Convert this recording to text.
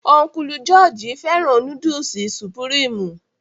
Ọ́nkùlù jọọji fẹ́ràn núdùsì supurimi